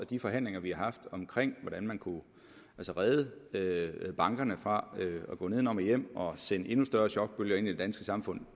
de forhandlinger vi har haft om hvordan man kunne redde redde bankerne fra at gå nedenom og hjem og dermed sende endnu større chokbølger ind i det danske samfund